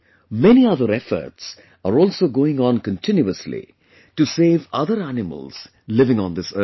Many other efforts are also going on continuously to save other animals living on this earth